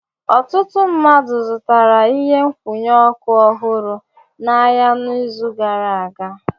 Ọtụtụ ndị mmadụ zụtara ihe nkwụnye ọkụ ọhụrụ n'ahịa n'izu gara aga.